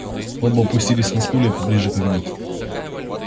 оба опустились на стулья поближе к огню